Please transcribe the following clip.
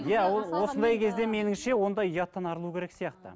иә ол осындай кезде меніңше ондай ұяттан арылу керек сияқты